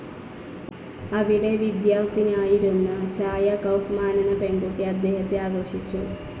അവിടെ വിദ്യാർത്ഥിനിയായിരുന്ന ഛായ കൗഫ്മാനെന്ന പെൺകുട്ടി അദ്ദേഹത്തെ ആകർഷിച്ചു.